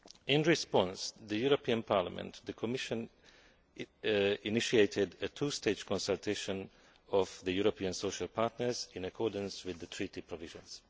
In response to the European Parliament, the Commission initiated a two stage consultation of the European social partners, in accordance with the Treaty provisions.